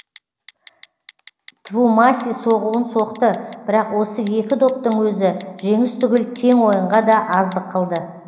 твумаси соғуын соқты бірақ осы екі доптың өзі жеңіс түгіл тең ойынға да аздық қылды